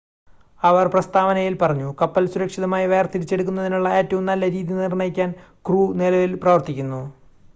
"അവർ പ്രസ്താവനയിൽ പറഞ്ഞു "കപ്പൽ സുരക്ഷിതമായി വേർതിരിച്ചെടുക്കുന്നതിനുള്ള ഏറ്റവും നല്ല രീതി നിർണ്ണയിക്കാൻ ക്രൂ നിലവിൽ പ്രവർത്തിക്കുന്നു"".